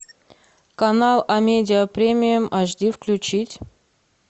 канал амедиа премиум аш ди включить